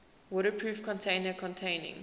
waterproof container containing